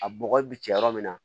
A bɔgɔ bi cɛ yɔrɔ min na